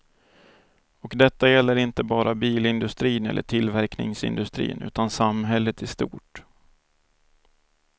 Och detta gäller inte bara bilindustrin eller tillverkningsindustrin utan samhället i stort.